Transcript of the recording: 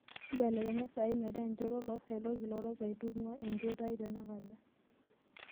mbelekenya esaa ai metaa enchoto oloosaen olkilorok aitung'ua enchoto ai tenakata